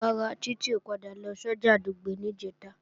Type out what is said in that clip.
Rárá, Títí ò padà lọ sọ́jà Dùgbẹ̀ níjẹ̀ta